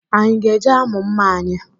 Anyị ga-eje amụ mma anyị?